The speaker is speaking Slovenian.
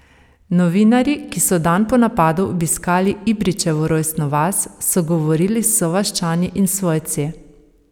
Novinarji, ki so dan po napadu obiskali Ibrićevo rojstno vas, so govorili s sovaščani in svojci.